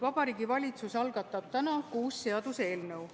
Vabariigi Valitsus algatab täna kuus seaduseelnõu.